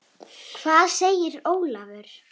Hvað segir Ólafur?